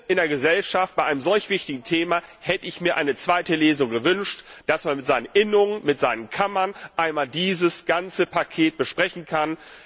In der Gesellschaft, bei einem solch wichtigen Thema, hätte ich mir eine zweite Lesung gewünscht, damit man mit seinen Innungen, mit seinen Kammern einmal dieses ganze Paket besprechen kann.